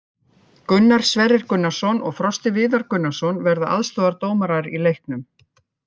Gunnar Sverrir Gunnarsson og Frosti Viðar Gunnarsson verða aðstoðardómarar í leiknum.